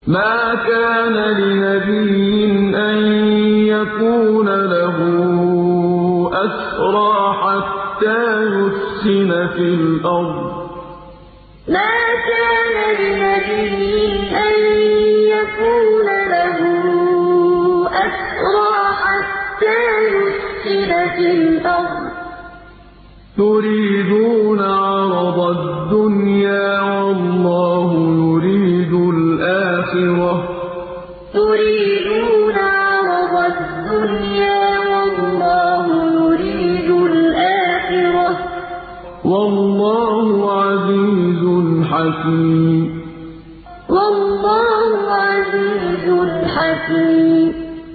مَا كَانَ لِنَبِيٍّ أَن يَكُونَ لَهُ أَسْرَىٰ حَتَّىٰ يُثْخِنَ فِي الْأَرْضِ ۚ تُرِيدُونَ عَرَضَ الدُّنْيَا وَاللَّهُ يُرِيدُ الْآخِرَةَ ۗ وَاللَّهُ عَزِيزٌ حَكِيمٌ مَا كَانَ لِنَبِيٍّ أَن يَكُونَ لَهُ أَسْرَىٰ حَتَّىٰ يُثْخِنَ فِي الْأَرْضِ ۚ تُرِيدُونَ عَرَضَ الدُّنْيَا وَاللَّهُ يُرِيدُ الْآخِرَةَ ۗ وَاللَّهُ عَزِيزٌ حَكِيمٌ